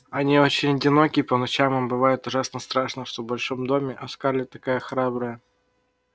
они очень одиноки и по ночам им бывает ужасно страшно что в большом доме а скарлетт такая храбрая